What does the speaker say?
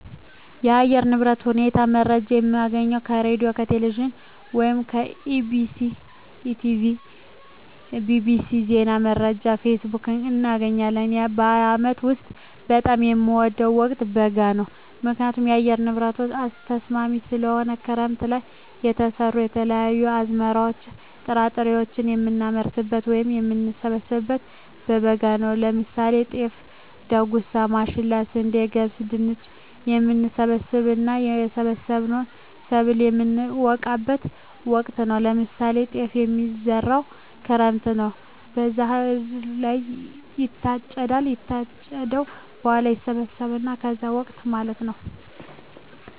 የአየር ንብረት ሁኔታ መረጃ የምናገኘው ከሬድዬ፣ ከቴሌቪዥን ወይም ከEBctv፣ ከETB tv፣ bbc፣ ዜና መረጃ፣ ፌስቡክ፣ እናገኛለን። በአመት ውስጥ በጣም የምወደው ወቅት በጋ ነው ምክንያቱም የአየር ንብረቱ ተስማሚ ስለሆነ፣ ክረምት ለይ የተዘሩ የተለያዩ አዝመራዎች ጥራጥሬዎችን የምናመርትበት ወይም የምንሰብበው በበጋ ነው ለምሳሌ ጤፍ፣ ዳጉሳ፣ ማሽላ፣ ስንዴ፣ ገብስ፣ ድንች፣ የምንሰበስብበት እና የሰበሰብነውን ሰብል የምነወቃበት ወቅት ነው ለምሳሌ ጤፍ የሚዘራው ክረምት ነው ከዛ ህዳር ላይ ይታጨዳል ከታጨደ በኋላ ይሰበሰባል ከዛ ይወቃል ማለት ነው።